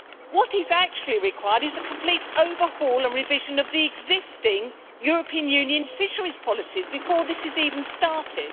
What is actually required is a complete overhaul and revision of the existing European Union fisheries policies before this is even started.